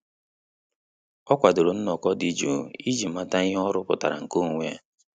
Ọ́ kwàdòrò nnọ́kọ́ dị́ jụụ iji màtá ihe ọ́ rụ́pụ̀tárà nke onwe ya.